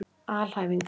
alhæfingar